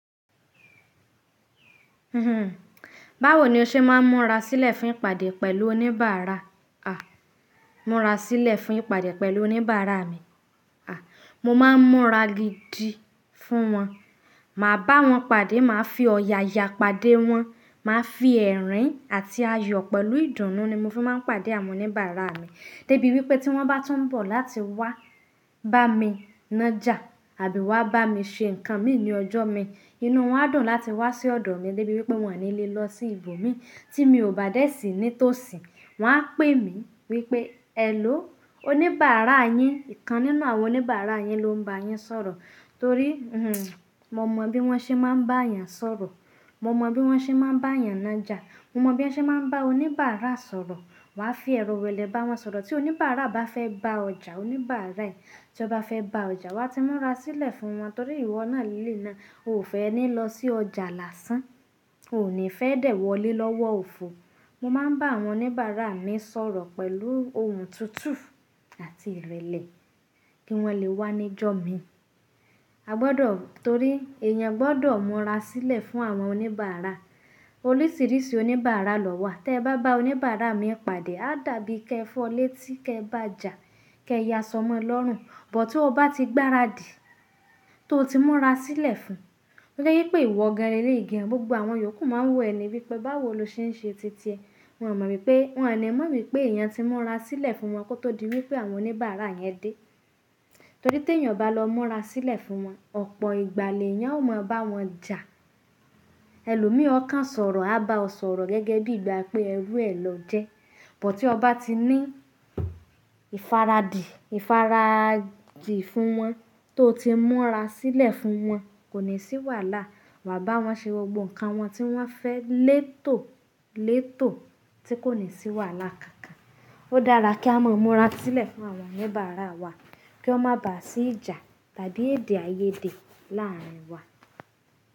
Báwo ni o ṣe máa ń múra sílẹ̀ fún ìpàdé pẹ̀lú oníbàárà? A! Múra sílẹ̀ fún ìpàdé pẹ̀lú oníbàárà mi. A! Mo máa ń múra gidi fún wọn. Màá bá wọn pàdé, màá fi ọ̀yàyà pàdé wọn, màá fi ẹ̀rín àti ayọ̀ pẹ̀lú ìdùnnú ni mo fi máa ń pàdé àwọn oníbàárà mi débi wípé tí wọ́n bá tún ń bọ̀ láti wá bá mi ńa jà àbí wá bá mi ṣe nǹkan mi ní ọjọ́ mi, inú wọn á dùn láti wá sí ọ̀dọ̀ mi débi wípé wọn ò ní lè lọ sí ibo mi tí mi ò bá dé sí ní tòsí. Wọn á pè mí wípé, "Èló, oníbàárà yín, ìkan nínú àwọn oníbàárà yín ló ń bá yín sọ̀rọ̀." Torí, mo mọ bí wọ́n ṣe máa ń bá èèyàn sọ̀rọ̀, mo mọ bí wọ́n ṣe máa ń bá èèyàn ńa jà, mo mọ bí wọ́n ṣe máa ń bá oníbàárà sọ̀rọ̀. Wọn á fi oro irẹlẹ́ bá wọn sọ̀rọ̀. Tí oníbàárà bá fẹ́ bá ọjà, oníbàárà yẹn tí ó bá fẹ́ bá ọjà, wa ti múra sílẹ̀ fún wọn torí ìwọ náà lé náà ò fẹ́ ẹ ní lọ sí ọjà lásán, ò ní fẹ́ dè wọlé lọ́wọ́ òfo. Mo máa ń bá àwọn oníbàárà mi sọ̀rọ̀ pẹ̀lú ohùn tutu àti ìrẹ̀lẹ̀ kí wọn lè wá níjọ́ mi. A gbọdọ̀-- torí èèyàn gbọdọ̀ múra sílẹ̀ fún àwọn oníbàárà. Oríṣiríṣi oníbàárà lọ wà. Tí ẹ bá bá oníbàárà mi pàdé, a dàbí kẹfọlé tí kẹ bá jà, kẹ ya sọmọ lọ́rùn. Bút tí o bá ti gbáradì tó ti múra sílẹ̀ fún, ó jẹ́ wípé ìwọ gẹ́lẹ́ igi, gbogbo àwọn yòókù máa ń wò ẹ ní wípé báwo lo ṣe ń ṣe titi ẹ. Wọn ò mọ̀ wípé-- wọ́n ní mọ̀ wípé èèyàn ti múra sílẹ̀ fún wọn kó tó di wípé àwọn oníbàárà yẹn dé. Torí tí èèyàn bá lọ múra sílẹ̀ fún wọn, ọ̀pọ̀ ìgbà lẹ́ẹ̀yàn ó máa bá wọn jà. Ẹlòmí ọ̀kan sọ̀rọ̀ a bá ọ sọ̀rọ̀ gẹ́gẹ́ bí ìgbà pé ẹrú ẹ lọ jẹ. Bút tí o bá ti ní ìfaradi, ìfaraji fún wọn tó ti múra sílẹ̀ fún wọn kò ní sì wàhálà. Wa bá wọn ṣe gbogbo nǹkan wọn tí wọ́n fẹ́ létò létò tí kò ní sì wàhálà kankan. Ó dára kí á mọ múra sílẹ̀ fún àwọn oníbàárà wa kí wọ́n má bà á sí ìjà tàbí èdè àìyédè láàárín wa.